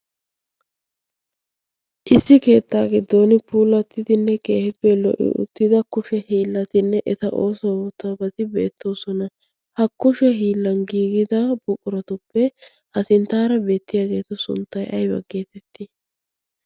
issi keettaa giddon pulattidinne keehippe lo77i uttida kushe hiillatinne eta oosuwa wotaabati beettoosona ha kushe hiillan giigida buqquratuppe ha sinttaara beettiyaageetu sunttai aiba geetettii?